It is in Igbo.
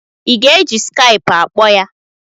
I ga-eji skaipụ akpọ ya?